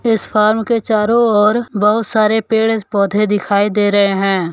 इस फार्म के चारों ओर बहुत सारे पेड़ पौधे दिखाई दे रहे हैं।